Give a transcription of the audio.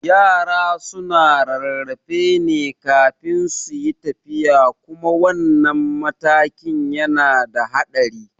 Yara suna rarrafe ne kafin suyi tafiya kuma wannan matakin yana da haɗari